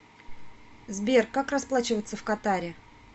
сбер как расплачиваться в катаре